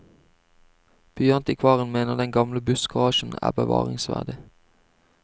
Byantikvaren mener den gamle bussgarasjen er bevaringsverdig.